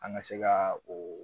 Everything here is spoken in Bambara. An ka se ka oo